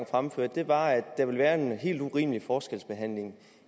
fremførte var at der ville være en helt urimelig forskelsbehandling